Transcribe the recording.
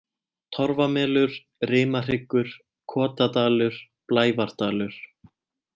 Torfamelur, Rimahryggur, Kotadalur, Blævardalur